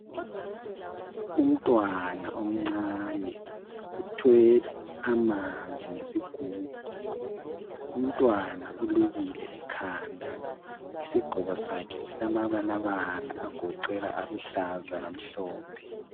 Umntwana omncane uthwele amanzi ngesigubhu umntwana ulukile ekhanda isiqgoko sakhe silama balabala agoqela aluhlaza lamhlophe